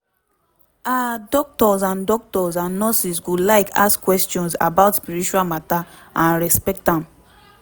ah doctors and doctors and nurses go like ask questions about spiritual matter and respect am